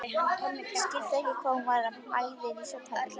Skildi ekki hvað hún var að æða inn í svefnherbergi.